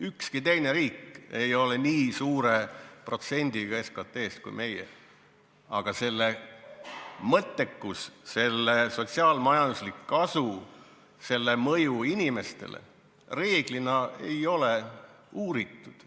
Ükski teine riik ei ole nii suure protsendiga SKT-st kui meie, aga selle mõttekust, selle sotsiaal-majanduslikku kasu, selle mõju inimestele reeglina ei ole uuritud.